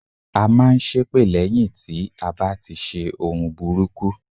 À n máa n ṣépè lẹ́yìn tí a bá ti ṣe ohun burúkú